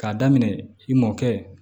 K'a daminɛ i mɔkɛ